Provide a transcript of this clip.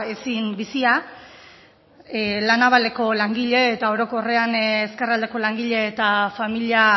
ezin bizia la navaleko langile eta orokorrean ezkerraldeko langile eta familia